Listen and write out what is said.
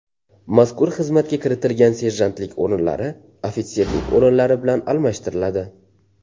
Mazkur xizmatga kiritilgan serjantlik o‘rinlari ofitserlik o‘rinlari bilan almashtiriladi.